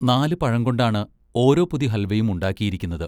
നാല് പഴംകൊണ്ടാണ് ഓരോ പൊതി ഹൽവയും ഉണ്ടാക്കിയിരിക്കുന്നത്.